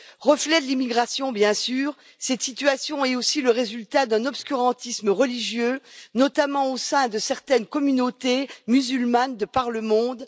Reflet de l'immigration, bien sûr, cette situation est aussi le résultat d'un obscurantisme religieux, notamment au sein de certaines communautés musulmanes de par le monde.